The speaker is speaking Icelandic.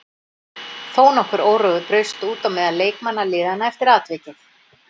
Þó nokkur órói braust út á meðal leikmanna liðanna eftir atvikið.